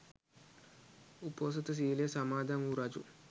උපෝසථ සීලය සමාදන් වු රජු